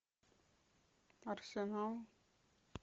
арсенал